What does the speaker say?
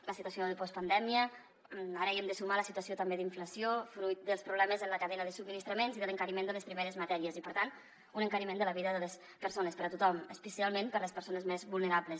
a la situació de postpandèmia ara hi hem de sumar la situació també d’inflació fruit dels problemes en la cadena de subministraments i de l’encariment de les primeres matèries i per tant un encariment de la vida de les persones per a tothom especialment per a les persones més vulnerables